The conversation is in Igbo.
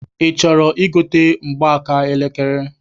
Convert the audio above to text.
I chọrọ igote mgbaaka elekere?